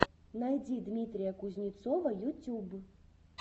найди дмитрия кузнецова ютюб